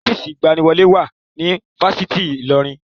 Ọ́fíìsì ìgbaniwọlé wà ní Fáṣitì Ilorin